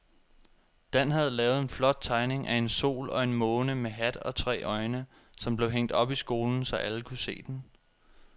Dan havde lavet en flot tegning af en sol og en måne med hat og tre øjne, som blev hængt op i skolen, så alle kunne se den.